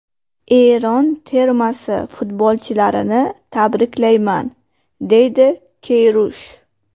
Eron termasi futbolchilarini tabriklayman”, dedi Keyrush.